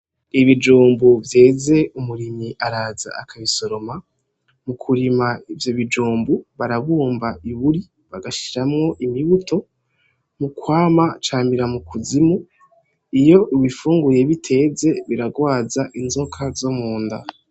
Ibijumbu vyeze umurimyi araza aka bisomera ,mu kirima ivyo bijumba , barabumba iburyo bakarashimwo, imibuto mukwamwa camira mu kuzima iyo ubifunguye biteze birarwaza inzoka zo mu nda.